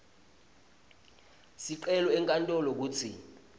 sicelo enkantolo kutsi